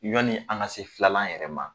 Ɲɔni an ka se filanan yɛrɛ ma.